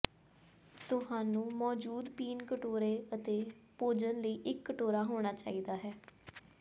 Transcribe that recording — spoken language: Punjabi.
ਤੁਹਾਨੂੰ ਮੌਜੂਦ ਪੀਣ ਕਟੋਰੇ ਅਤੇ ਭੋਜਨ ਲਈ ਇੱਕ ਕਟੋਰਾ ਹੋਣਾ ਚਾਹੀਦਾ ਹੈ